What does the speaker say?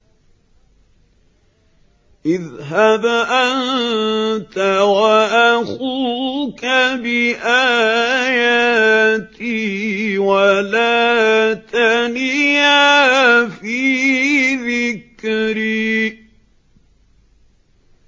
اذْهَبْ أَنتَ وَأَخُوكَ بِآيَاتِي وَلَا تَنِيَا فِي ذِكْرِي